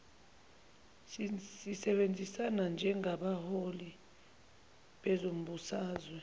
sisebenzisana njengabaholi bezombusazwe